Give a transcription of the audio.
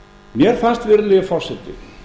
mér fannst virðulegi forseti